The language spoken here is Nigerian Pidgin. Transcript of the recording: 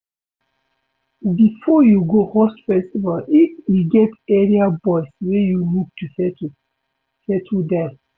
Before you go host festival if e get area boys wey you need to settle, settle them